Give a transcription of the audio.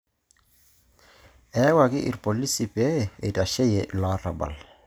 Iyawuaki irolisi pee eitasheyie ilo arabal.